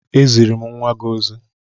E ziri m nnwa gị ozi